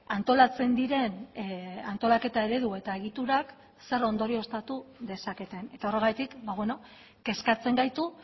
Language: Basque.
antolatzen diren antolaketa eredu eta egiturak zer ondorioztatu dezaketen eta horregatik kezkatzen gaitu